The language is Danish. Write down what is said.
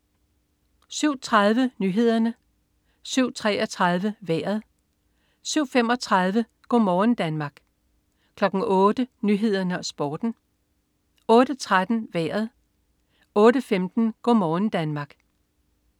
07.30 Nyhederne 07.33 Vejret 07.35 Go' morgen Danmark 08.00 Nyhederne og Sporten 08.13 Vejret 08.15 Go' morgen Danmark